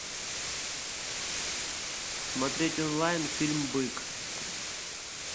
смотреть онлайн фильм бык